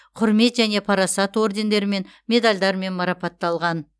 құрмет және парасат ордендерімен медальдармен марапатталған